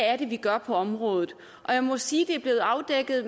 der gøres på området og jeg må sige at det er blevet afdækket